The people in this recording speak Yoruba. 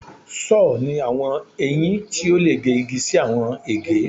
Sọ́ọ̀ ni awọn eyin ti o le ge igi si awọn ege